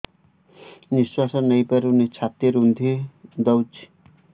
ନିଶ୍ୱାସ ନେଇପାରୁନି ଛାତି ରୁନ୍ଧି ଦଉଛି